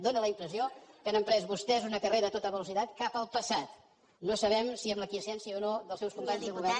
fa la impressió que han emprès vostès una carrera a tota velocitat cap al passat no sabem si amb la aquiescència o no dels seus de companys de govern